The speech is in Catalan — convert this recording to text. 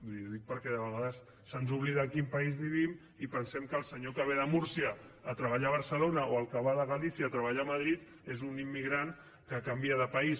li ho dic perquè de vegades se’ns oblida a quin país vivim i pensem que el senyor que ve de múrcia a treballar a barcelona o el que va de galícia a treballar a madrid és un immigrant que canvia de país